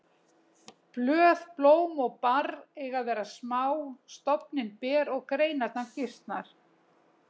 Blöð, blóm og barr eiga að vera smá, stofninn ber og greinarnar gisnar.